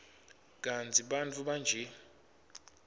kantsi bantfu banje